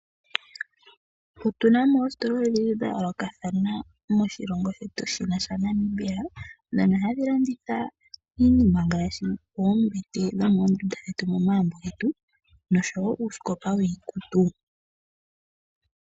Otunamo oositola odhindji dha yoolokathana moshilongo shetu shino sha Namibia dhono hadhi landitha iinima ngaashi oombete dhomoondunda dhomomagumbo getu noshowo uusikopa wiikutu.